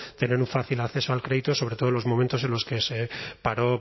tener un fácil acceso al crédito sobre todo en los momentos en los que se paró